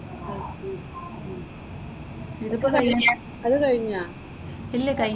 ICD ഉം എന്തൊക്കെ കഴിഞ്ഞേ? അത് കഴിഞ്ഞോ?